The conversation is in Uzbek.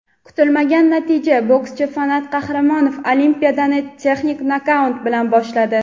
Kutilmagan natija: bokschi Fanat Qahramonov Olimpiadani texnik nokaut bilan boshladi.